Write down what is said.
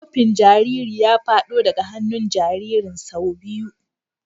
Kofin jariri ya fado daga hannun jaririn sau biyu.